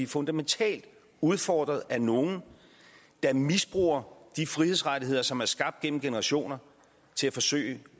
fundamentalt udfordret af nogle der misbruger de frihedsrettigheder som er skabt gennem generationer til at forsøge